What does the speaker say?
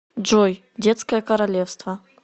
джой детское королевство